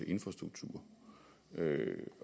infrastruktur